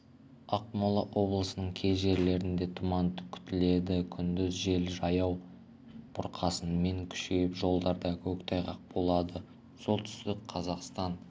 ақмола облысының кей жерлерінде тұман күтіледі күндіз жел жаяу бұрқасынмен күшейіп жолдарда көктайғақ болады солтүстік қазақстан